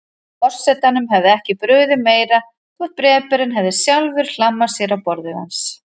Forsetanum hefði ekki brugðið meira þótt bréfberinn hefði sjálfur hlammað sér á borðið hans.